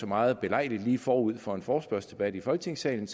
meget belejligt lige forud for en forespørgselsdebat i folketingssalen